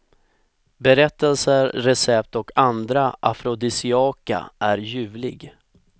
Berättelser, recept och andra afrodisiaka är ljuvlig.